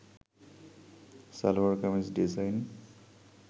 salwar kameez design